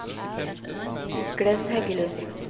Glenn Heggelund